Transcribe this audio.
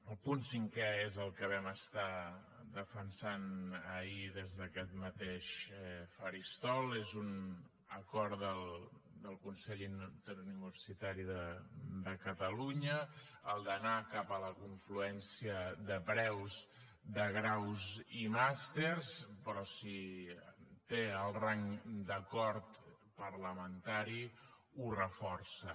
el punt cinquè és el que vam estar defensant ahir des d’aquest mateix faristol és un acord del consell interuniversitari de catalunya el d’anar cap a la confluència de preus de graus i màsters però si té el rang d’acord parlamentari ho reforça